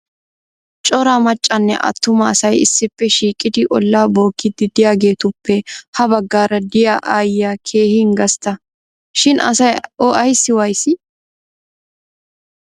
Cora maccanne attuma asay issippe shiiqqidi ollaa bookkiidi de'iyaagetuppe ha baggaara de'iyaa aayiyaa keehin gastta shin asay o ayssi wayyissii!